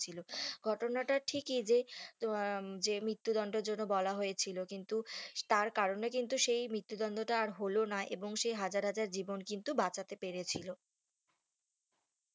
ছিল ঘটনাটা ঠিকই যে আহ যে মৃত্যু দন্ডের জন্য বলা হয়েছিল কিন্তু তার কারণে কিন্তু সেই মৃত্যু দন্ডটা আর হলো না এবং সে হাজার হাজার জীবন কিন্তু বাঁচাতে পেরেছিলো